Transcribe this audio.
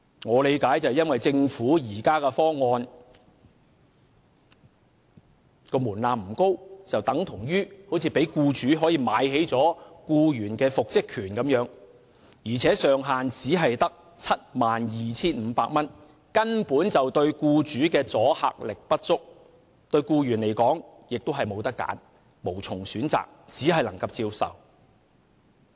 我的理解是，由於政府方案的門檻不高，等同讓僱主可"買起"僱員的復職權，而且上限只是 72,500 元，對僱主的阻嚇力不足，對僱員而言亦是無從選擇，只能接受。